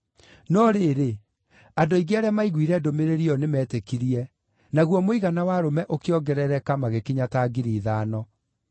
No rĩrĩ, andũ aingĩ arĩa maiguire ndũmĩrĩri ĩyo nĩmetĩkirie, naguo mũigana wa arũme ũkĩongerereka magĩkinya ta 5,000.